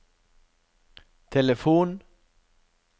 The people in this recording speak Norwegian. telefon